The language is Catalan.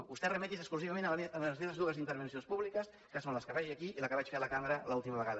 vostè remeti’s exclusivament a les meves dues intervencions públiques que són la que faig jo aquí i la que vaig fer a la cambra l’última vegada